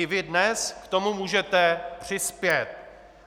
I vy dnes k tomu můžete přispět.